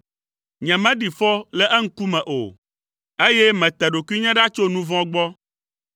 Nyemeɖi fɔ le eŋkume o, eye mete ɖokuinye ɖa tso nu vɔ̃ gbɔ.